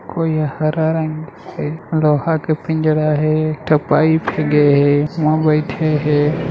कोई हरा रंग के लोहा का पिंजड़ा हे एक ठ पाईप गे हे उहि म बैठे हे।